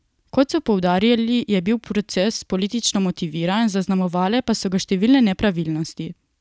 Kot so poudarili, je bil proces politično motiviran, zaznamovale pa so ga številne nepravilnosti.